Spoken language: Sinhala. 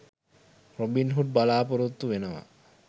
රොබින්හූඩ් බලපොරොත්තු වෙනවා.